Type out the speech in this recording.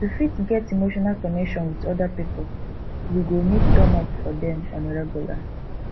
to fit get emotional connection with oda pipo we go need turn up for dem on a regular